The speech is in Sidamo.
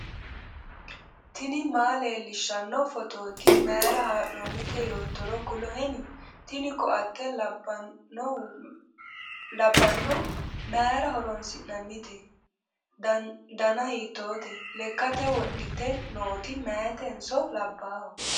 tini maa leellishshanno phootooti mayra haa'noonnite yoottoro kuloheni ? tini koatte labbanno mayra horoonsi'nannite ? danahiitoote ? lekkate wodhite nooti mayetenso labbaaho?